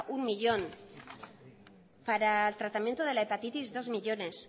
uno millón para el tratamiento de la hepatitis dos millónes